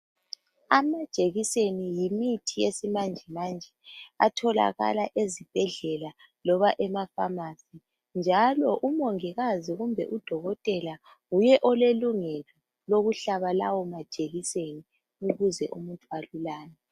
Amajekiseni yimithi yesimanjemanje atholakala ezibhedlela loba ema pharmacy njalo umongikazi kumbe udokotela nguye olelungelo lokuhlaba lawo majekiseni ukuze umuntu alulame.